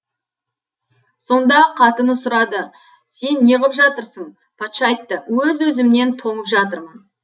сонда қатыны сұрады сен неғып жатырсың патша айтты өз өзімнен тоңып жатырмын